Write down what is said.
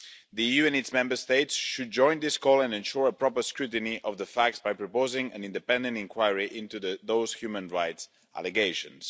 The EU and its Member States should join this call and ensure proper scrutiny of the facts by proposing an independent inquiry into those human rights allegations.